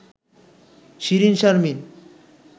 Shirin Sharmin